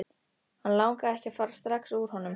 Hann langaði ekki að fara strax úr honum.